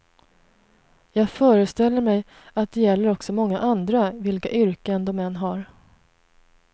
Jag föreställer mig att det gäller också många andra, vilka yrken de än har.